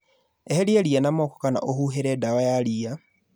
Eheria ria na moko kana ũhũhĩre dawa ya ria